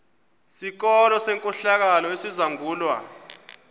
sikolo senkohlakalo esizangulwa